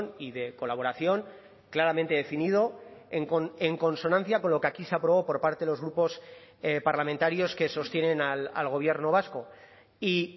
y de colaboración claramente definido en consonancia con lo que aquí se aprobó por parte de los grupos parlamentarios que sostienen al gobierno vasco y